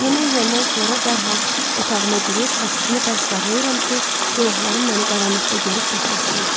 Yemək yeyəndən sonra dərhal otağıma girib qapısını bərk bağlayıram ki, günahlarım məni qaranlıqda görüb tapmasınlar.